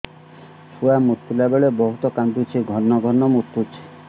ଛୁଆ ମୁତିଲା ବେଳେ ବହୁତ କାନ୍ଦୁଛି ଘନ ଘନ ମୁତୁଛି